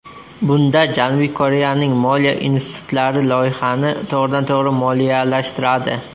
Bunda Janubiy Koreyaning moliya institutlari loyihani to‘g‘ridan-to‘g‘ri moliyalashtiradi.